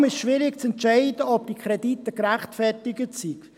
Vor allem ist es schwierig zu sagen, ob diese Kredite gerechtfertigt sind.